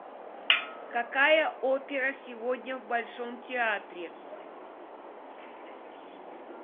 какая опера сегодня в большом театре